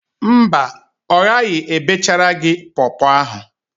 Mba, ọ ghaghị ebechara gị pọọpọọ ahụ.